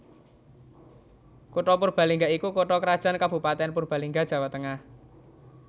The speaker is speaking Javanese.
Kutha Purbalingga iku Kutha krajan Kabupatèn Purbalingga Jawa Tengah